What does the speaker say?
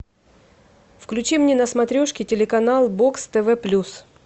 включи мне на смотрешке телеканал бокс тв плюс